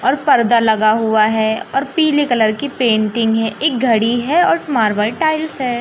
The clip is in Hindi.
और पर्दा लगा हुआ है और पीले कलर की पेंटिंग है एक घड़ी है और मार्बल टाइल्स है।